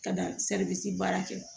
Ka da baara kɛ